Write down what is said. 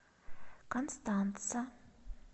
констанца